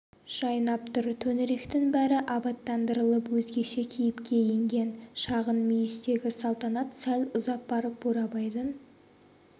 жайнап тұр төңіректің бәрі абаттандырылып өзгеше кейіпке енген шағын мүйістегі салтанат сәл ұзап барып бурабайдың